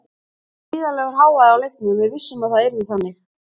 Það var gríðarlegur hávaði á leiknum en við vissum að það yrði þannig.